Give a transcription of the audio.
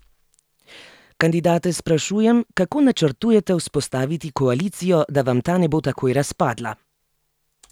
Kandidate sprašujem, kako načrtujete vzpostaviti koalicijo, da vam ta ne bo takoj razpadla?